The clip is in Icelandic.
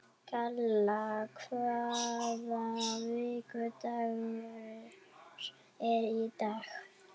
Kalla, hvaða vikudagur er í dag?